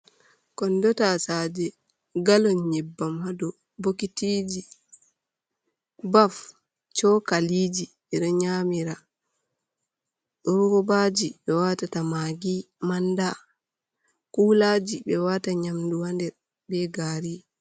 Kondo tasaje galon nyebbam ha dou, bokitiji, baf, chokaliji, ɓe ɗo re nyamira, robaji ɓe watata magi, manda, kulaji ɓe wata nyamdu ha nder be gari.